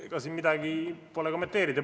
Ega siin midagi kommenteerida pole.